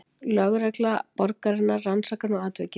Lögregla borgarinnar rannsakar nú atvikið